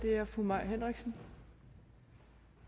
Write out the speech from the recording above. er fru mai henriksen